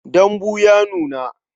Dambu ya nuna.